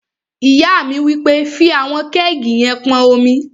Ìyá mi wí pé, "fí àwọn kẹ́ẹ̀gì yẹn pọn omi!"